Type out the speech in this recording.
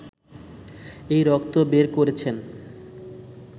এই রক্ত বের করছেন!